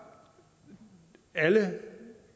alle